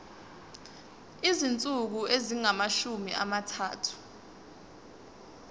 izinsuku ezingamashumi amathathu